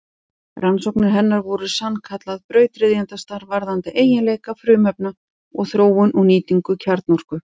Rannsóknir hennar voru sannkallað brautryðjendastarf varðandi eiginleika frumefna og þróun og nýtingu kjarnorku.